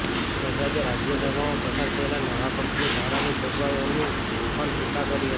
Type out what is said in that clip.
બજાજે રાજ્યસભામાં પસાર થયેલા નવા કંપની ધારાની જોગવાઈઓની પણ ટીકા કરી હતી